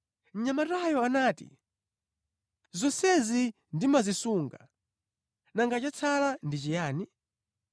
Mnyamatayo anati, “Zonsezi ndimazisunga, nanga chatsala ndi chiyani?”